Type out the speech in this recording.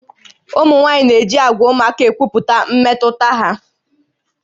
Ụmụ nwaanyị na-eji àgwà ụmụaka ekwupụta mmetụta ha